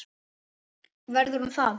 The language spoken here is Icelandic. Verður hún það?